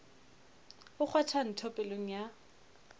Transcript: o kgwatha ntho pelong ya